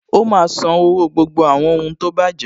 Ó má a sanwó gbogbo àwọn ohun tó bàjẹ́